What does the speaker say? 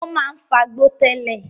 O máa ń fagbó tẹ́lẹ̀